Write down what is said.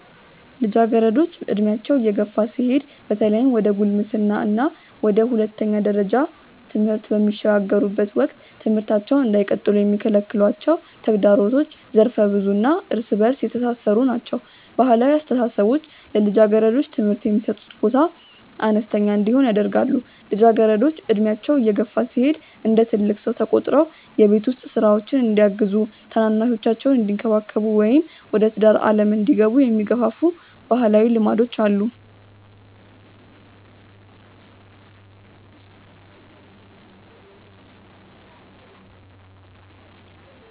ልጃገረዶች ዕድሜያቸው እየገፋ ሲሄድ በተለይም ወደ ጉልምስና እና ወደ ሁለተኛ ደረጃ ትምህርት በሚሸጋገሩበት ወቅት ትምህርታቸውን እንዳይቀጥሉ የሚከለክሏቸው ተግዳሮቶች ዘርፈ-ብዙ እና እርስ በእርስ የተሳሰሩ ናቸው። ባህላዊ አስተሳሰቦች ለልጃገረዶች ትምህርት የሚሰጡት ቦታ አነስተኛ እንዲሆን ያደርጋሉ። ልጃገረዶች ዕድሜያቸው እየገፋ ሲሄድ እንደ ትልቅ ሰው ተቆጥረው የቤት ውስጥ ሥራዎችን እንዲያግዙ፣ ታናናሾቻቸውን እንዲንከባከቡ ወይም ወደ ትዳር ዓለም እንዲገቡ የሚገፋፉ ባህላዊ ልማዶች አሉ።